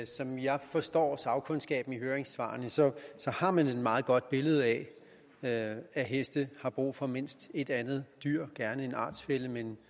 som jeg forstår sagkundskaben i høringssvarene har man et meget godt billede af at at heste har brug for mindst ét andet dyr gerne en artsfælle men